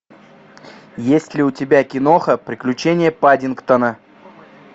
есть ли у тебя киноха приключения паддингтона